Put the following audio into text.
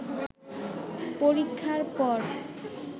পরীক্ষার পর